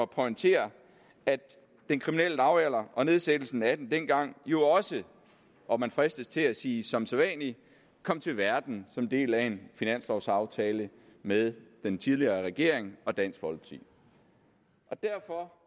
pointere at den kriminelle lavalder og nedsættelsen af den dengang jo også og man fristes til at sige som sædvanlig kom til verden som del af en finanslovaftale mellem den tidligere regering og dansk folkeparti derfor